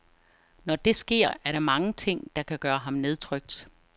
Når det sker, er der mange ting, der kan gøre ham nedtrykt.